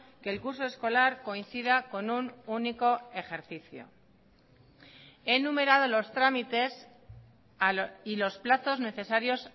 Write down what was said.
que el curso escolar coincida con un único ejercicio he numerado los trámites y los plazos necesarios